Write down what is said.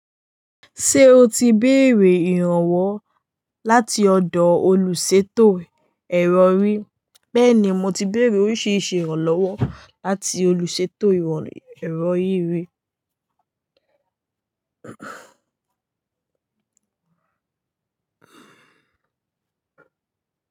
Ṣé o ti béèrè ìrànwọ́ láti ọ̀dọ̀ olùsètò ẹ̀rọ rí? Bẹ́ẹ̀ni, mo ti béèrè oríṣiríṣi ìrànlọ́wọ́ láti olùsètò ẹ̀rọ yíyí rí.